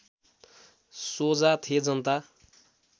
सोझा थे जनता